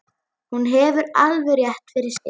Hún hefur alveg rétt fyrir sér.